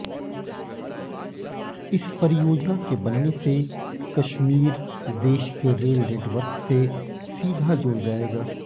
इस परियोजना के बनने से कश्मीर देश के रेल नेटवर्क से सीधा जुड़ जाएगा